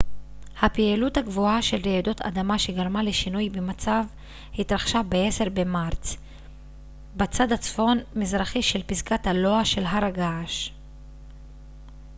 הפעילות הגבוהה של רעידות אדמה שגרמה לשינוי במצב התרחשה ב-10 במרץ בצד הצפון-מזרחי של פסגת הלוע של הר הגעש